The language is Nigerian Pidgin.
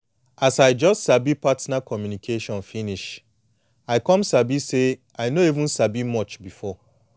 as i just sabi partner communication finish i come sabi say i no even sabi much before